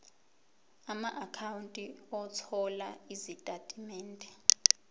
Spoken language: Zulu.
amaakhawunti othola izitatimende